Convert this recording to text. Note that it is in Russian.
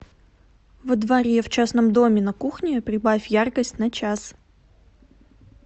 во дворе в частном доме на кухне прибавь яркость на час